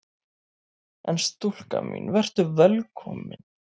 En stúlka mín: Vertu velkomin!